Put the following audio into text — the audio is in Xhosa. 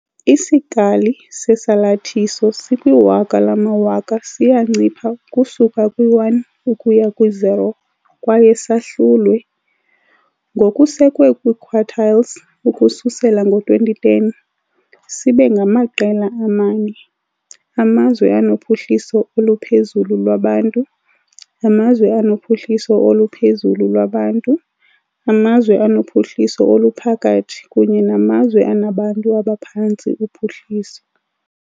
Isikali sesalathiso sikwiwaka lamawaka siyancipha ukusuka kwi-1 ukuya kwi-0 kwaye sahlulwe, ngokusekwe kwi-quartiles, ukususela ngo-2010, sibe ngamaqela amane - amazwe anophuhliso oluphezulu lwabantu, amazwe anophuhliso oluphezulu lwabantu, amazwe anophuhliso oluphakathi kunye namazwe anabantu abaphantsi uphuhliso.